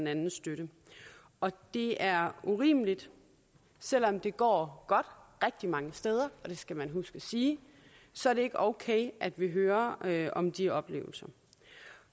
anden støtte og det er urimeligt selv om det går godt rigtig mange steder og det skal man huske at sige så er det ikke okay at vi hører hører om de oplevelser